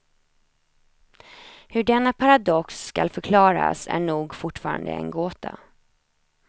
Hur denna paradox skall förklaras är nog fortfarande en gåta.